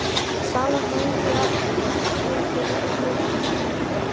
Salan nægir þó ekki til að standa undir rekstri verksmiðjunnar.